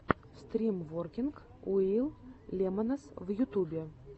стрим воркинг уив лемонс в ютубе